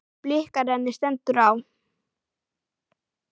Bikar henni stendur á.